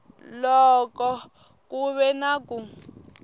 loko ku ve na ku